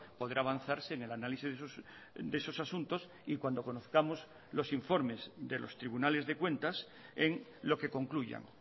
podrá avanzarse en el análisis de esos asuntos y cuando conozcamos los informes de los tribunales de cuentas en lo que concluyan